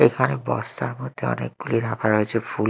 এখানে বস্তার মধ্যে অনেকগুলি রাখা রয়েছে ফুল।